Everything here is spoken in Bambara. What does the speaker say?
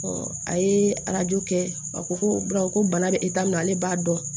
a ye arajo kɛ a ko ko ko bana bɛ e ta min na ale b'a dɔn